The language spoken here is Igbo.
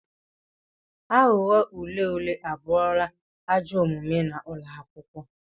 Aghụghọ ule ule abụrụla ajọ omume n'ụlọ akwụkwọ.